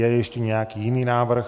Je ještě nějaký jiný návrh?